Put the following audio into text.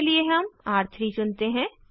र3 के लिए हम र3 चुनते हैं